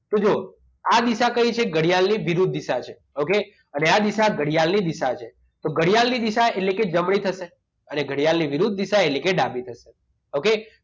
તો જુઓ આ દિશા કઈ છે ઘડિયાળની વિરુદ્ધ દિશા છે okay અને આ દિશા ઘડિયાળની દિશા છે તો ઘડિયાળ ની દિશા એટલે કે જમણી થશે અને ઘડિયાળની વિરુદ્ધ દિશા એટલે કે ડાબી થશે okay